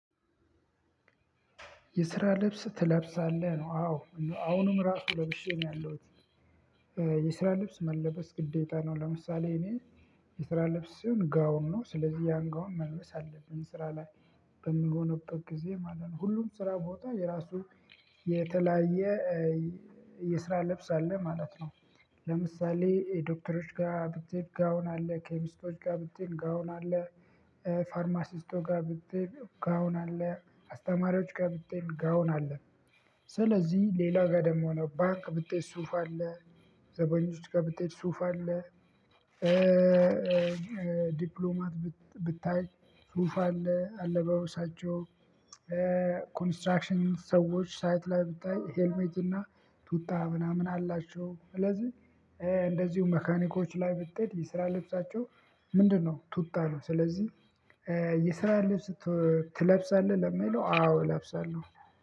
የስራ ልብስ ትለብሳለህ ነው አዎ አሁንም ራሱ ለብሼ ነው ያለሁት። የስራ ልብስ መለበስ ግዴታ ነው። ለምሳሌ እኔ የስራ ልብስ ሲሆን ጋውን ነው ስለዚህ ያን ጋውን መልበስ አለብኝ ስራ ላይ በምሆንበት ጊዜ ማለት ነው። ሁሉም ስራ ቦታ የራሱ የተለያየ የስራ ልብስ አለ ማለት ነው። ለምሳሌ የዶክተሮች ጋር ብትሄድ ጋውን አለ ኬሚስቶች ጋር ብትሄድ ጋውን አለ። ፋርማሲስቶች ጋር ብትሄድ ጋውን አለ አስተማሪዎች ጋር ብትሄድ ጋውን አለ። ስለዚህ ሌላ ጋር ደግሞ ሆኖ ባንክ ብትሄድ ሱፍ አለ። ዘበኞች ጋር ብትሄድ ሱፍ አለ። ዲፕሎማት ብታይ ሱፍ አለ አለባበሳቸው ኮንስትራክሽን ሰዎች ሳይት ላይ ብታይ ሄልሜት እና ቱታ ምናምን አላቸው። ስለዚህ እንደዚሁ መካኒኮች ላይ ብትሄድ የስራ ልብሳቸው። ምንድነው? ቱታ ነው። ስለዚህ የስራ ልብስ ትለብሳለህ ለሚለው አዎ እለብሳለሁ።